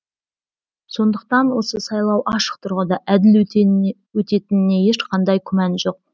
сондықтан осы сайлау ашық тұрғыда әділ өтетініне ешқандай күмән жоқ